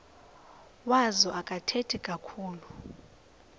wazo akathethi kakhulu